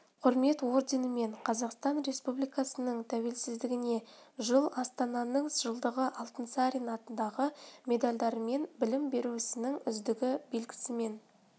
құрмет орденімен қазақстан республикасының тәуелсіздігіне жыл астананың жылдығы алтынсарин атындағы медальдарымен білім беру ісінің үздігі белгісімен